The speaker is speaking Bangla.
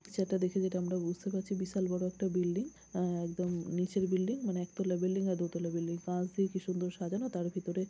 সেটা দেখে যেটা আমরা বুঝতে পারছি বিশাল বড় একটা বিল্ডিং এ একদম নিচের বিল্ডিং মানে একতলা বিল্ডিং দু তলা বিল্ডিং কাছ দিয়ে কি সুন্দর সাজানো তার ভিতরে--